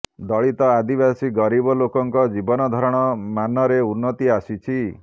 ଦଳିତ ଆଦିବାସୀ ଗରିବ ଲୋକଙ୍କ ଜୀବନଧାରଣ ମାନରେ ଉନ୍ନତି ଆସିଛି